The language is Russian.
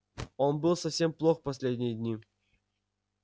он был совсем плох последние дни